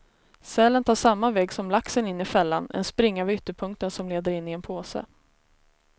Sälen tar samma väg som laxen in i fällan, en springa vid ytterpunkten som leder in i en påse.